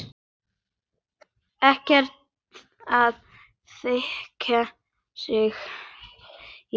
Ekkert að þakka, segi ég.